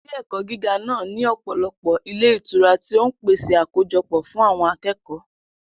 Ilé-ẹ̀kọ́ gíga náà ní ọ̀pọ̀lọpọ̀ ilé ìtura tí ó ń pèsè àkójọpọ̀ fún àwọn akẹ́kọ̀ọ́.